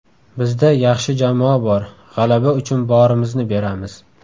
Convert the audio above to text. Bizda yaxshi jamoa bor, g‘alaba uchun borimizni beramiz.